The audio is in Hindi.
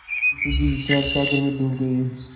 मुंशी जी विचारसागर में डूब गये